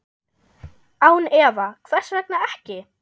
Án efa, hvers vegna ekki?